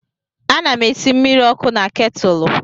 Ana m esi mmiri ọkụ na ketụlụ.